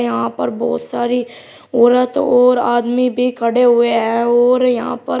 यहां पर बहुत सारी औरत और आदमी भी खड़े हुए हैं और यहां पर--